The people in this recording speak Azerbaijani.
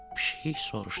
Pişik soruşdu.